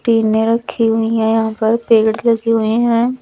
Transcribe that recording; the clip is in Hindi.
टीने रखी हुई है यहां पर पेड़ लगी हुई है।